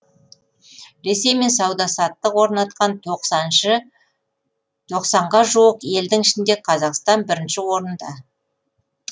ресеймен сауда саттық орнатқан тоқсанға жуық елдің ішінде қазақстан бірінші орында